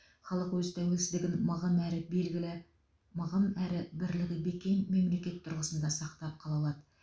халық өз тәуелсіздігін мығым әрі белгілі мығым әрі бірлігі бекем мемлекет тұрғысында сақтап қала алады